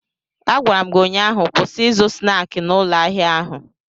Agwara m gi ụnyaahụ, kwụsị ịzụ snaakị n'ụlọ ahịa ahụ!